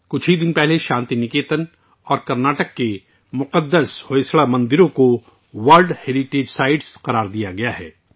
کچھ دن پہلے ہی کرناٹک کے شانتی نکیتن اور مقدس ہوئساڈا مندروں کو عالمی ثقافتی ورثہ قرار دیا گیا ہے